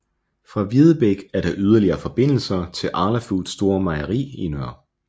Fra Videbæk er der yderligere forbindelser til Arla Foods store mejeri Nr